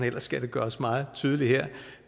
ellers skal det gøres meget tydeligt her